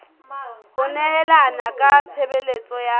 ho nehelana ka tshebeletso ya